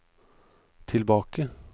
tilbake